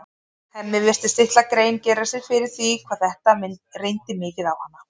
Hemmi virtist litla grein gera sér fyrir því hvað þetta reyndi mikið á hana.